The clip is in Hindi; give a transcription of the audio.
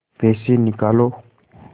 पैसे निकालो